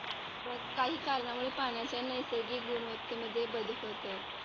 काही कारणामुळे पाण्याचे नैसर्गिक गुणवत्तेमध्ये बदल होतो.